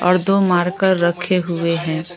और दो मार्कर रखे हुए हैं।